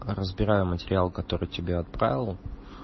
разбираем материал который тебе отправил